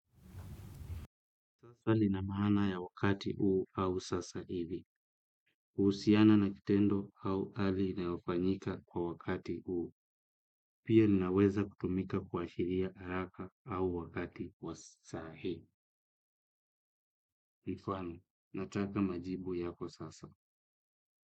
Sasa linamahana ya wakati uu au sasa hivi. Kuhusiana na kitendo au ali inaofanyika kwa wakati uu. Pia linaweza kutumika kwa shiria haraka au wakati wa sahi. Kwa mfano nataka majibu yako sasa.